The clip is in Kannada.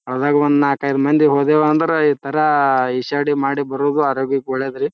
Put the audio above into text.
ಆದಾಗ್ ಒಂದ್ ನಾಕೈದ್ ಮಂದಿ ಹೋದ್ಯಾವ್ ಅಂದ್ರ ಈ ತರ ಇಷಾದಿ ಮಾಡಿ ಬರೋದು ಆರೋಗ್ಯಕ್ಕೆ ಒಳ್ಳೇದು ರೀ.